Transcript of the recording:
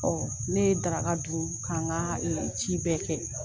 Ɔ ne ye daraka dun k' an ka ci bɛɛ kɛ.